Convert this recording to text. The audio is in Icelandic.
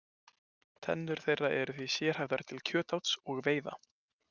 Tennur þeirra eru því sérhæfðar til kjötáts og veiða.